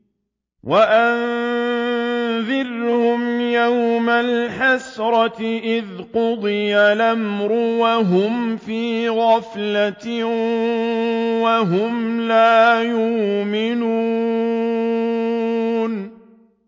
وَأَنذِرْهُمْ يَوْمَ الْحَسْرَةِ إِذْ قُضِيَ الْأَمْرُ وَهُمْ فِي غَفْلَةٍ وَهُمْ لَا يُؤْمِنُونَ